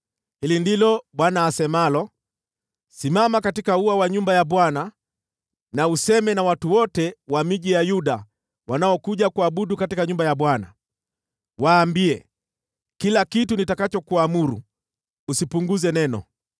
“Hili ndilo Bwana asemalo: Simama katika ua wa nyumba ya Bwana na useme na watu wote wa miji ya Yuda wanaokuja kuabudu katika nyumba ya Bwana . Waambie kila kitu nitakachokuamuru, usipunguze neno.